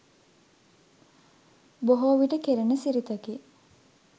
බොහෝ විට කෙරෙන සිරිතකි